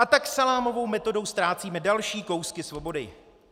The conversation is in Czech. A tak salámovou metodou ztrácíme další kousky svobody.